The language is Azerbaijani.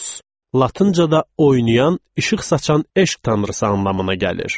Latıncada oynayan, işıq saçan eşq tanrısı anlamına gəlir.